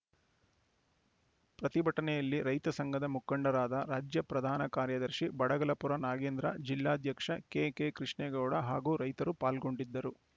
ಪ್ರತಿಭಟನೆಯಲ್ಲಿ ರೈತ ಸಂಘದ ಮುಖಂಡರಾದ ರಾಜ್ಯ ಪ್ರಧಾನ ಕಾರ್ಯದರ್ಶಿ ಬಡಗಲಪುರ ನಾಗೇಂದ್ರ ಜಿಲ್ಲಾಧ್ಯಕ್ಷ ಕೆಕೆ ಕೃಷ್ಣೇಗೌಡಹಾಗೂ ರೈತರು ಪಾಲ್ಗೊಂಡಿದ್ದರು